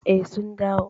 Eh, sun dawo.